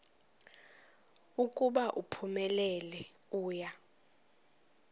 ukuba uphumelele uya